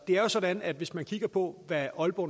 er jo sådan at hvis man kigger på hvad aalborg